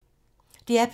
DR P2